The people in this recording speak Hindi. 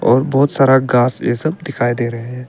और बहुत सारा घास ये सब दिखाई दे रहे है।